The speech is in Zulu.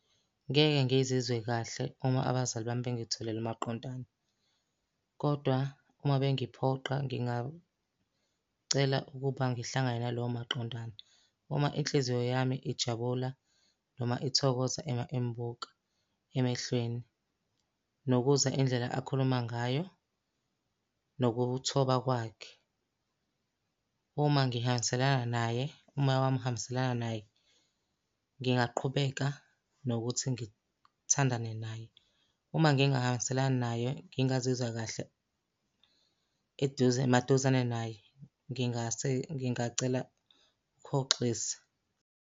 Ngeke ngizizwe kahle uma abazali bami bengitholele umaqondane, kodwa uma bengiphoqa ngingacela ukuba ngihlangane nalowo maqondana. Uma inhliziyo yami ijabula noma ithokoza uma imubuka emehlweni. Nokuzwa indlela akhuluma ngayo, nokuthoba kwakhe. Uma ngihambiselana naye, umoya wami uhambiselana naye, ngingaqhubeka nokuthi ngithandane naye. Uma ngingahambiselani naye ngingazizwa kahle eduze maduzane naye ngingase ngingacela ukuhoxisa.